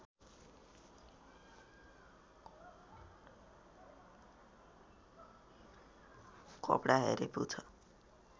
कपडा हेरे पुग्छ